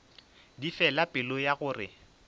di fela pelo ya gore